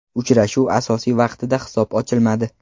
Uchrashuv asosiy vaqtida hisob ochilmadi.